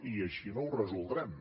i així no ho resoldrem